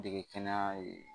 Dege kɛnɛya ye